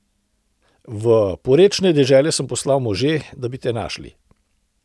V porečne dežele sem poslal može, da bi te našli.